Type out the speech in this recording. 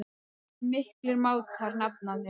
Þeir voru miklir mátar, nafnarnir.